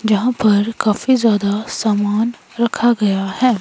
जहां पर काफी ज्यादा सामान रखा गया है।